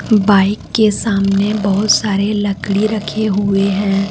Bike के सामने बहुत सारे लकड़ी रखे हुए हैं।